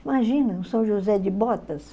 Imagina, o São José de Botas.